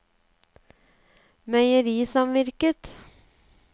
meierisamvirket